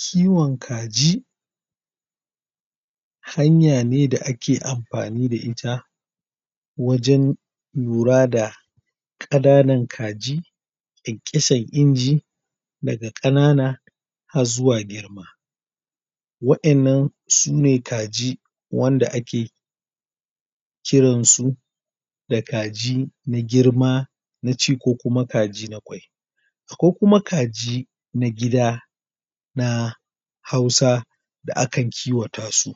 Kiwon kaji hanya ne da ake amfani da ita wajen lura da kananan kaji, kyankyasar inji daga kanana har zuwa girma, wayanan sune kaji wanda ake kiransu da kaji na girma na ci ko kuma kaji na kwai, akwai kuma kaji na gida, na hausa da aka kiwa ta su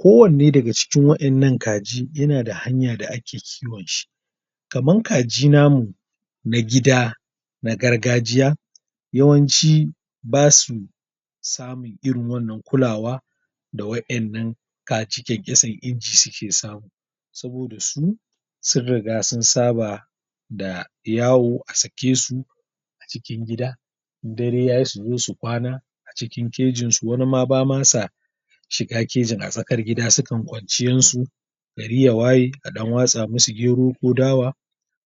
kowanne daga cikin wannan kaji yana da hanya da ake kiwon shi, kaman kaji namu na gida na gargajiya, yawanci basu samun irin wannan kulawa da wayannan kaji kyankyasar inji suke samu saboda su sun riga sun saba da yawo a sake su a cikin gida, dare yayi su zo su kwana a ciki kejin su, wani ma basa ma shiga kejin a tsakar gida su kan kwanciyar su gari ya waye, a dan watsa musu gero, ko dawa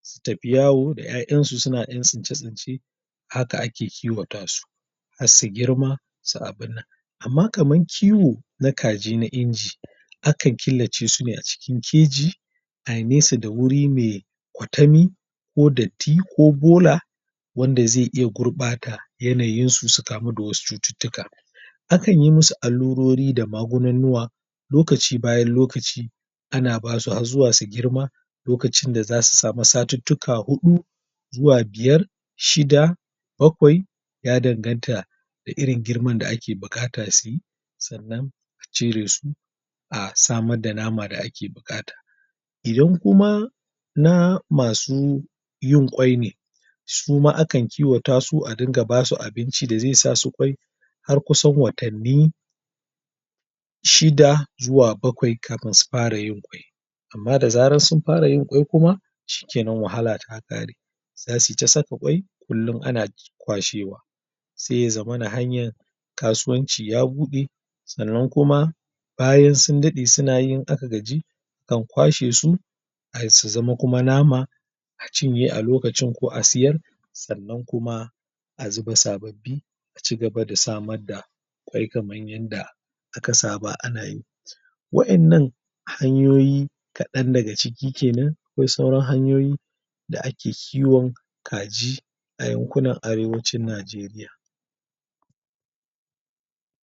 su tafi yawo, da 'ya'yan su su tafi yan tsince tsince haka ake kiwata su har su girma, su abin nan, amma kamar kiwo na kaji na inji, akan killace su ne a cikin keji ayi nesa da wuri ne kwatami ko datti ko bola wanda zai iya gurbata yanayin su su kamu da wasu cututtuka, akan yi musu allurori da magunannuwa lokaci bayan lokaci ana basu har su girma lokacin da zasu samu satuttuka hudu zuwa biyar, shida, bakwai ya danganta da irin girman da ake bukata su yi, sannan a cire su a samar da nama da ake bukata, idan kuma na masu yin kwai ne,, su ma akan kiwa ta su a dinga basu abinci da zai sa su kwai har kusan watanni shida zuwa bakwai kafin su fara yin kwai amma sa sun fara yin kwai kuma shikenan wahala ta kare, zasu yi ta saka kwai, kullum ana kwashewa, sai ya zamana cewa hanayar kasuwanci ya bude, sannan kuma bayan sun dade suna yi aka gaji akan kwashe su, su zama kuma nama, a cinye a lokacin ko a siyar, sannan kuma a zu ba sababbi a cigaba da samar da kwai kaman yadda aka saba ana yi, wayannan hanyoyi kadan daga ciki kenan akwai sauran hanyoyi da ake kiwon kaji a yankunan are arewacin Nigeria.